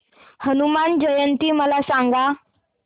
हनुमान जयंती मला सांगा